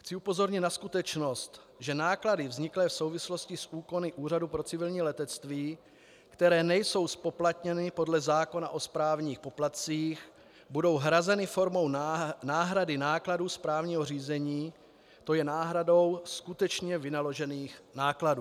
Chci upozornit na skutečnost, že náklady vzniklé v souvislosti s úkony Úřadu pro civilní letectví, které nejsou zpoplatněny podle zákona o správních poplatcích, budou hrazeny formou náhrady nákladů správního řízení, to je náhradou skutečně vynaložených nákladů.